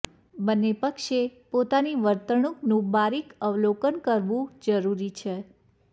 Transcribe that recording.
બંને પક્ષે પોતાની વર્તણૂકનું બારીક અવલોકન કરવું જરૂરી છે